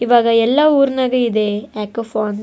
ಇವಾಗ ಎಲ್ಲ ಊರನಾಗ ಇದೆ ಮೈಕ್ರೊ ಫೋನ್ಸ್ .